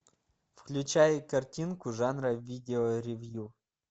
включай картинку жанра видео ревью